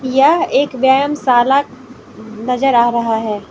यह एक व्यायाम शाला नजर आ रहा है।